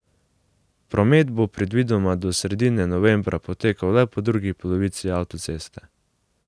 Promet bo predvidoma do sredine novembra potekal le po drugi polovici avtoceste.